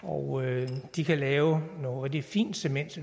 og de kan lave noget rigtig fint cement